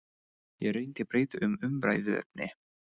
Ég reyndi að breyta um umræðuefni.